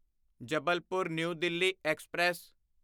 Jabalpur new Delhi express